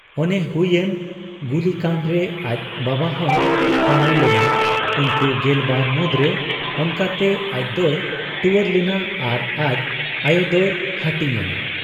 ᱚᱱᱮ ᱦᱩᱭ ᱮᱱ ᱜᱩᱞᱤᱠᱟᱸᱰ ᱨᱮ ᱟᱡ ᱵᱟᱵᱟᱦᱚᱸᱭ ᱯᱟᱲᱟᱣ ᱞᱮᱱᱟ ᱩᱱᱠᱩ ᱜᱮᱞᱵᱟᱨ ᱢᱩᱸᱫᱽᱨᱮ ᱾ ᱚᱱᱠᱟᱛᱮ ᱟᱡᱫᱚᱭ ᱴᱩᱣᱟᱹᱨ ᱞᱮᱱᱟ ᱟᱨ ᱟᱡ ᱟᱭᱚᱫᱚᱭ ᱦᱟᱹᱴᱤᱧ ᱮᱱᱟ ᱾